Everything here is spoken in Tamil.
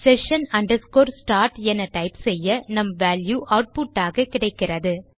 session start என டைப் செய்ய நம் வால்யூ ஆட்புட் ஆக கிடைக்கிறது